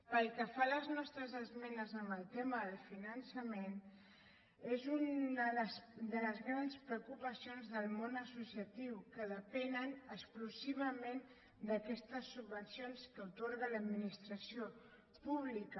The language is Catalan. pel que fa a les nostres esmenes en el tema del finançament és una de les grans preocupacions del món associatiu que depenen exclusivament d’aquestes subvencions que atorga l’administració pública